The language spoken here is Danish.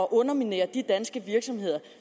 at underminere de danske virksomheder